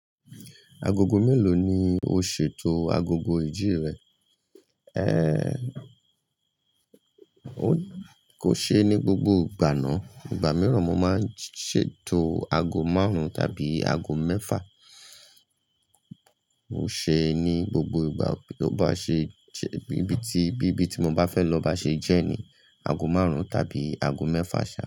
Agogo mélòó ni o ṣètò agogo ìjí rẹ? Ẹ́, o kò ṣe é ní gbogbo ìgbà ná. Ìgbà mìíràn mo máa ń ṣètò ago márùn-ún tàbí ago mẹ́fà. Mo ṣe é ní gbogbo ìgbà tó bá ṣe jẹ́, bíbí tí, bíbí tí mo bá fẹ́ lọ bá ṣe jẹ́ ni ago márùn-ún tàbí ago mẹ́fà ṣá.